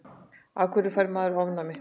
af hverju fær maður ofnæmi